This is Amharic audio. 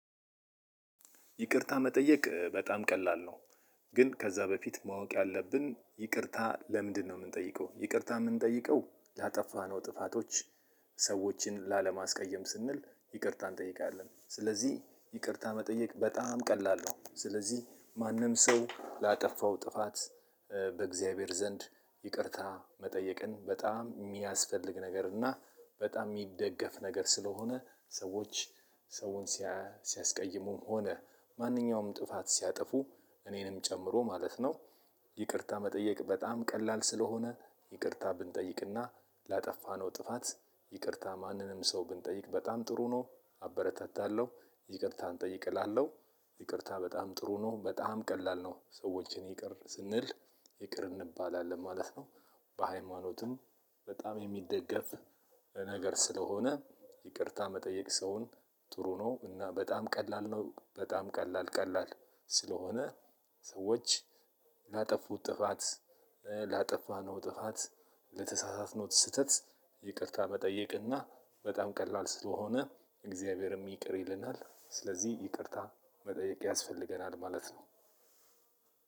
ይቅርታ መጠየቅ በጣም ቀላል ነው። ግን ከዛ በፊት ማወቅ ያለብን ይቅርታ ለምንድነው? የምንጠይቀው ይቅርታ የምንጠይቀው ላጠፋነው ጥፋቶች ሰዎችን ላለማስቀየም ስንል ይቅርታ እንጠይቃለን። ስለዚህ ይቅርታ መጠየቅ በጣም ቀላል ነው። ስለዚህ ማንም ሰው ላጠፋው ጥፋት። በእግዚአብሔር ዘንድ ይቅርታ መጠየቅን በጣም የሚያስፈልግ ነገር እና በጣም የሚደገፍ ነገር ስለሆነ። ሰዎች ሰውን ሲያስቀይሙም ሆነ ማንኛውም ጥፋት ሲያጠፉ እኔንም ጨምሮ ማለት ነው። ይቅርታ መጠየቅ በጣም ቀላል ስለሆነ ይቅርታ ብንጠይቅና ላጠፋነው ጥፋት ይቅርታ ማንንም ሰው ብንጠይቅ በጣም ጥሩ ነው። አበረታታለሁ ይቅርታ እንጠይቅ እላለሁ። ይቅርታ በጣም ጥሩ ነው በጣም ቀላል ነው ሰዎችን ይቅር ስንል ይቅር እንባላለን ማለት ነው። በሃይማኖትም በጣም የሚደገፍ ነገር ስለሆነ ይቅርታ መጠየቅ ሰውን ጥሩ ነው። እና በጣም ቀላል ነው በጣም ቀላል ቀላል ስለሆነ። ሰዎች ላጠፉት ጥፋት ላጠፋነው ጥፋት ለተሳሳትነው ስህተት ይቅርታ መጠየቅና በጣም ቀላል ስለሆነ። እግዚአብሔርም ይቅር ይለናል ስለዚህ ይቅርታ መጠየቅ ያስፈልገናል ማለት ነው።